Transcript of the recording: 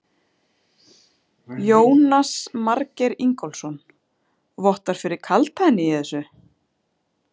Jónas Margeir Ingólfsson: Vottar fyrir kaldhæðni í þessu?